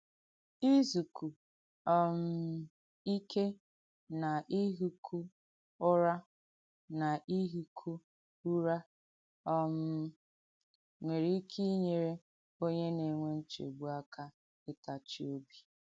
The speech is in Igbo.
Ìzùkù um ìké nà ìhị́kụ̀ ùrà nà ìhị́kụ̀ ùrà um nwèrè ìké ìnyèrè onyè nà-ènwè nchègbù àkà ìtàchì òbì.